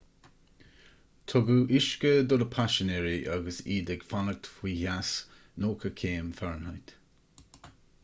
tugadh uisce do na paisinéirí agus iad ag fanacht faoi theas 90 céim f